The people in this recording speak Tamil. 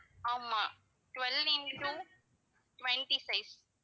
ஆமா twelve into twenty size